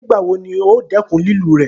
Nígbàwọ́ ní ò dẹ́kún lẹ́lù rẹ́?